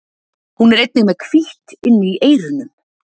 Hún er einnig með hvítt inni í eyrunum.